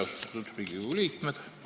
Austatud Riigikogu liikmed!